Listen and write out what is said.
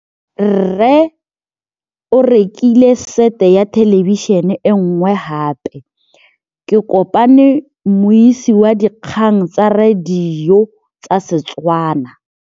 Rre o rekile sete ya thêlêbišênê e nngwe gape. Ke kopane mmuisi w dikgang tsa radio tsa Setswana.